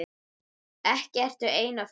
Ekki ertu einn á ferð?